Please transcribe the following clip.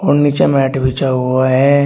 नीचे मैट बिछा हुआ है।